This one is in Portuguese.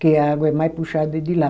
Que a água é mais puxada de lá.